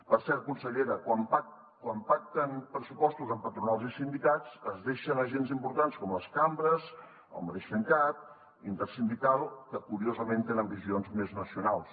per cert consellera quan pacten pressupostos amb patronals i sindicats es deixen agents importants com les cambres el mateix femcat la intersindical que curiosament tenen visions més nacionals